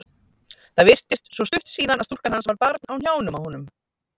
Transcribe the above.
Það virtist svo stutt síðan að stúlkan hans var barn á hnjánum á honum.